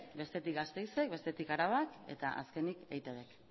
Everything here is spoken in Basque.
bestetik gasteizek bestetik arabak eta azkenik eitb k